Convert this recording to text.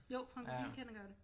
Jo Franchophile kender godt det